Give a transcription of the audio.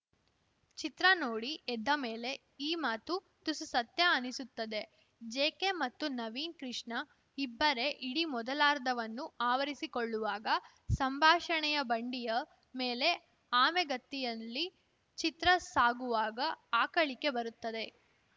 ಚಿತ್ರ ನೋಡಿ ಎದ್ದ ಮೇಲೆ ಈ ಮಾತು ತುಸು ಸತ್ಯ ಅನ್ನಿಸುತ್ತದೆ ಜೆಕೆ ಮತ್ತು ನವೀನ್‌ ಕೃಷ್ಣ ಇಬ್ಬರೇ ಇಡೀ ಮೊದಲಾರ್ಧವನ್ನು ಆವರಿಸಿಕೊಳ್ಳುವಾಗ ಸಂಭಾಷಣೆಯ ಬಂಡಿಯ ಮೇಲೆ ಆಮೆಗತಿಯಲ್ಲಿ ಚಿತ್ರ ಸಾಗುವಾಗ ಆಕಳಿಕೆ ಬರುತ್ತದೆ